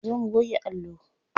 Zo mu goge allo.